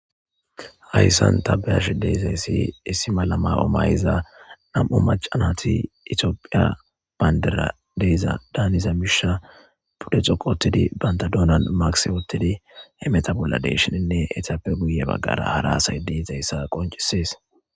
Hayssan tabeyash deisa issi issi malama omayza nam'u macanati itiophiya baynderadeyza daaniza misha pudde xoqotidi bantadoonan maksi wottidi he meta bolla deeshininne etappe guye baggara hara hasay deizayssa qoncisees